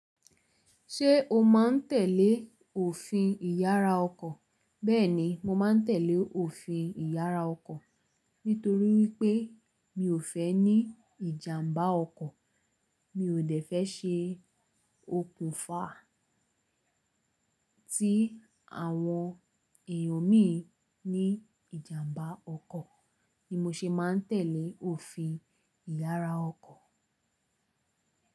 Ṣé o má ń tẹ̀lé òfin ìyara ọkọ̀? Bẹ́ẹ̀ni, mo má ń tẹ̀lé òfin ìyara ọkọ̀ nítorí wípé mi ò fẹ́ ní ìjàmbá ọkọ̀. Mi ò dẹ́fẹ́ ṣe òkùnfà ti àwọn èyàn mí ní ìjàmbá ọkọ̀ ni mo se ma ń tẹ̀lé òfin ìyara ọkọ̀